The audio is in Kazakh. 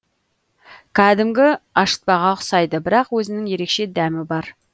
кәдімгі ашытпаға ұқсайды бірақ өзінің ерекше дәмі бар